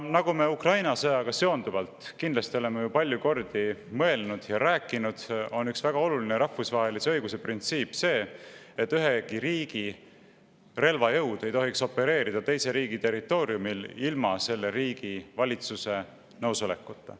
Nagu me Ukraina sõjaga seonduvalt kindlasti oleme palju kordi mõelnud ja rääkinud, on üks väga oluline rahvusvahelise õiguse printsiip see, et ühegi riigi relvajõud ei tohiks opereerida teise riigi territooriumil ilma selle riigi valitsuse nõusolekuta.